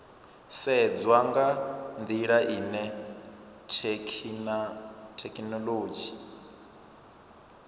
sedzwa nga ndila ine thekhinolodzhi